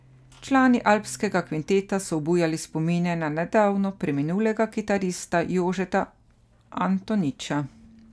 Člani Alpskega kvinteta so obujali spomine na nedavno preminulega kitarista Jožeta Antoniča.